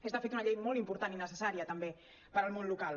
és de fet una llei molt important i necessària també per al món local